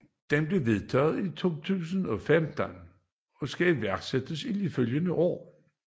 Den blev vedtaget i 2015 og skal iværksættes i de følgende år